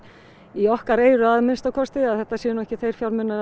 í okkar eyru að minnsta kosti að þetta séu nú ekki þeir fjármunir